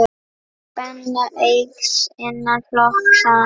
Spenna eykst innan flokks hans.